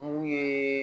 N'u ye